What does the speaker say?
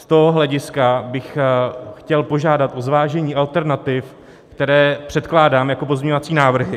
Z toho hlediska bych chtěl požádat o zvážení alternativ, které předkládám jako pozměňovací návrhy.